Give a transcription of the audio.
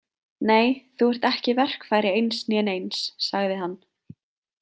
Nei, þú ert ekki verkfæri eins né neins, sagði hann.